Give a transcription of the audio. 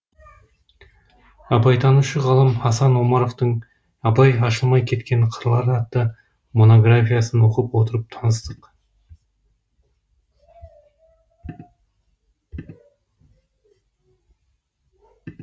абайтанушы ғалым асан омаровтың абай ашылмай кеткен қырлары атты монографиясын оқып отырып таныстық